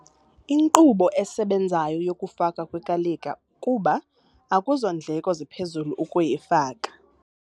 Inkqubo esebenzayo yokufakwa kwekalika kuba akuzondleko ziphezulu ukuyifaka.